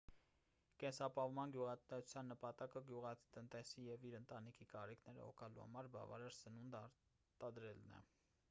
կենսապահովման գյուղատնտեսության նպատակը գյուղատնտեսի և իր ընտանիքի կարիքները հոգալու համար բավարար սնունդ արտադրելն է